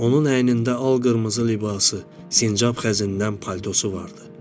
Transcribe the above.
Onun əynində al-qırmızı libası, sincab xəzindən paltosu vardı.